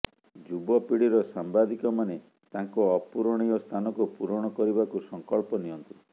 ଯୁବ ପିଢ଼ିର ସାମ୍ବାଦିକମାନେ ତାଙ୍କ ଅପୂରଣୀୟ ସ୍ଥାନକୁ ପୂରଣ କରିବାକୁ ସଂକଳ୍ପ ନିଅନ୍ତୁ